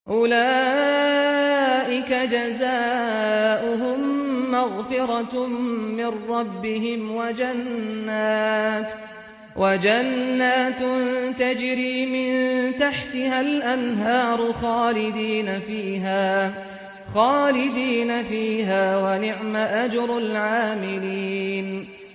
أُولَٰئِكَ جَزَاؤُهُم مَّغْفِرَةٌ مِّن رَّبِّهِمْ وَجَنَّاتٌ تَجْرِي مِن تَحْتِهَا الْأَنْهَارُ خَالِدِينَ فِيهَا ۚ وَنِعْمَ أَجْرُ الْعَامِلِينَ